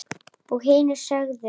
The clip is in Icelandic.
Og hinir sögðu: